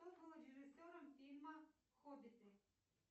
кто был режиссером фильма хоббиты